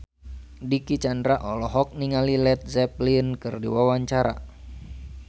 Dicky Chandra olohok ningali Led Zeppelin keur diwawancara